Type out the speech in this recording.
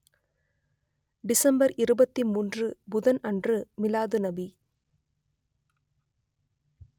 December இருபத்தி மூன்று புதன் அன்று மிலாதுநபி